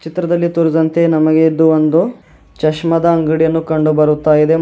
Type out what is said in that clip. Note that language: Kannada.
ಚಿತ್ರದಲ್ಲಿ ತೋರಿಸಿದಂತೆ ನಮಗೆ ಇದು ಒಂದು ಚಶ್ಮದ ಅಂಗಡಿಯನ್ನು ಕಂಡು ಬರುತ್ತಾ ಇದೆ ಮತ್--